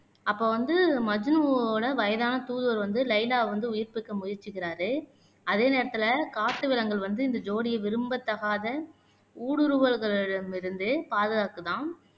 அப்ப வந்து மஜ்னுவோட வயதான தூதுவர் வந்து லைலாவ வந்து உயிர்ப்பிக்க முயற்சிக்கிறாரு அதே நேரத்துல காட்டு விலங்குகள் வந்து இந்த ஜோடிய விரும்பத்தகாத ஊடுருவல்களிடமிருந்து பாதுகாக்குதாம்